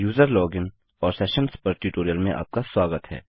user login और sessions पर tutorial में आपका स्वागत है